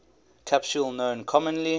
capsule known commonly